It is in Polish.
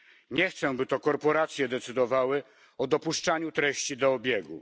Nie chcę, by to korporacje decydowały o dopuszczaniu treści do obiegu.